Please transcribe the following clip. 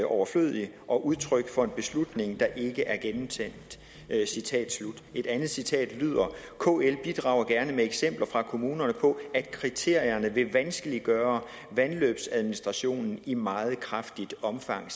overflødig og udtryk for en beslutning der ikke er gennemtænkt et andet citat lyder kl bidrager gerne med eksempler fra kommuner på at kriterierne vil vanskeliggøre vandløbsadministration i meget kraftigt omfang